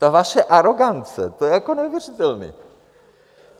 Ta vaše arogance, to je jako neuvěřitelné.